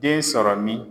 Den sɔrɔ min